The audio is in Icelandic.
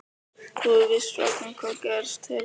Þú hefur víst fregnað hvað gerst hefur?